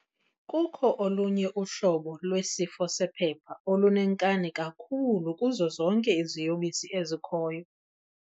Kukho olunye uhlobo lwesifo sephepha olunenkani kakhulu kuzo zonke iziyobisi ezikhoyo.